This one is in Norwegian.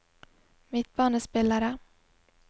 midtbanespillere